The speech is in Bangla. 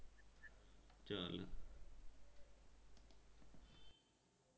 চলো।